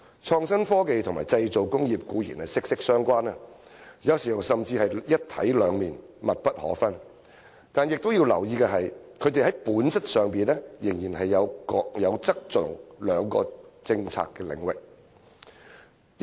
創新科技與製造工業固然息息相關，有時甚至是"一體兩面"、密不可分，但須留意的是，它們在本質上仍然是各有側重的兩個政策領域。